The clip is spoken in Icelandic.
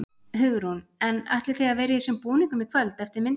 Hugrún: En ætlið þið að vera í þessum búningum í kvöld eftir myndina?